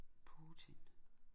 Putin